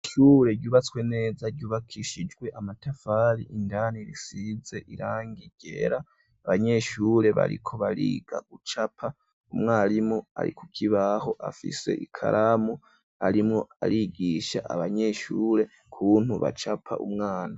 Ishure ryubatswe neza ryubakishijwe amatafari indani risize irangi ryera, abanyeshure bariko bariga gucapa, umwarimu ari kukibaho afise ikaramu arimwo arigisha abanyeshure kuntu bacapa umwana.